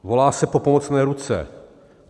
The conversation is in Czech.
Volá se po pomocné ruce.